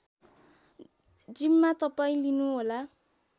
जिम्मा तपाईँ लिनुहोला